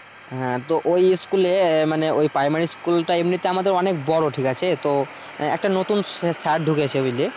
হ্যাঁ তো ওই স্কুলে মানে ওই প্রাইমারি স্কুলটা এমনিতে আমাদের অনেক বড় ঠিক আছে? তো একটা নতুন স্যার ঢুকেছে বুঝলি?